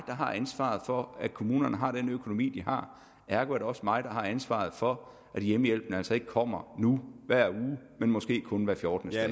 har ansvaret for at kommunerne har den økonomi de har ergo er det også mig der har ansvaret for at hjemmehjælpen altså nu ikke kommer hver uge men måske kun hver fjortende